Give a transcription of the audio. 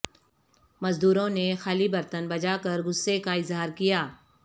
مزدورو ں نے خالی برتن بجاکر غصہ کا اظہار کیا